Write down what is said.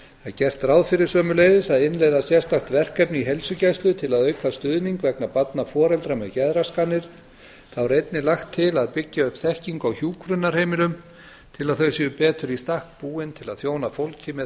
gert er ráð fyrir sömuleiðis að innleiða sérstakt verkefni í heilsugæslu til að auka stuðning vegna barna foreldra með geðraskanir þá er einnig lagt til að byggja upp þekkingu á hjúkrunarheimilum til að þau séu betur í stakk búin til að þjóna fólki með